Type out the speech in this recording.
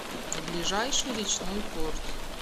ближайший речной порт